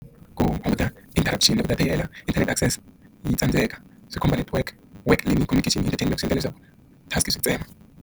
Ku hunguta interaction ku ta ti hela inthanete access yi tsandzeka swi khumba network work leyi ni yi khoneketile yi ta tshama swi endla leswaku task swi ntsena.